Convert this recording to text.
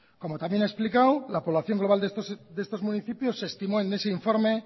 como también ha explicado la población global de estos municipios se estimó en ese informe